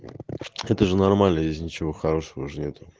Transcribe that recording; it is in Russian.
это же нормально здесь ничего хорошего же нету